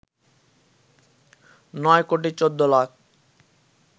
৯ কোটি ১৪ লাখ